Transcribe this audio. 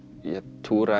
túra